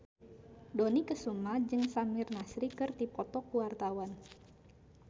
Dony Kesuma jeung Samir Nasri keur dipoto ku wartawan